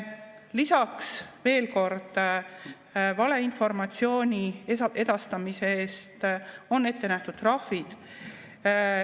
Lisaks, veel kord, valeinformatsiooni edastamise eest on ette nähtud trahvid.